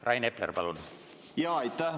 Rain Epler, palun!